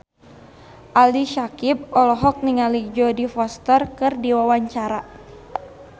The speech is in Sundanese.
Ali Syakieb olohok ningali Jodie Foster keur diwawancara